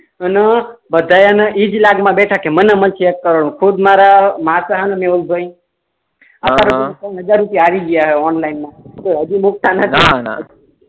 એના બધાય ઈ જ લાગ મા બેઠા છે ને મને મળશે એક કરોડ ખુદ મારા માસ હેને મેહુલ ભાઈ અત્યારે હજાર રુપયા હારી ગયા ઓનલાઈન મા તો હજુ નુકશાન જ છે ને ના ના